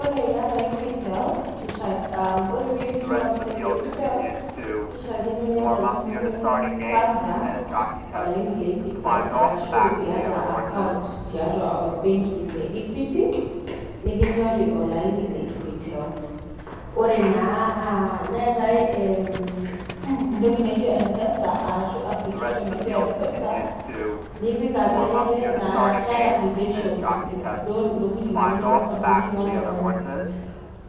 ore pee eyieu niriwa mpisai tee equitel kishakini niata oltung'ani kwanza olaini lee equitel ashu eyata account tiatua benki nikijorii olaini lee equitel neetae entoki naijio mpesa nipik